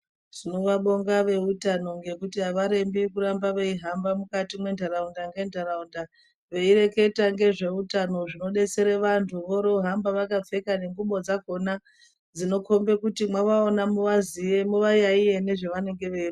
Tinovabonga veutano ngekuti avarembi kuramba veihamba mukati mwentaraunda ngentaraunda veireketa ngezveutano zvinodetsere vantu vorohambe vakapfeka nengubo dzakhona dzinokhombe kuti mwavaona muvaziye muvayaiye nezvavanenge vei.